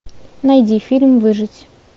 найди фильм выжить